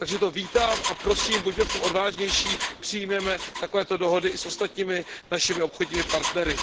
Takže to vítám a prosím, buďme v tom odvážnější, přijměme takovéto dohody i s ostatními našimi obchodními partnery.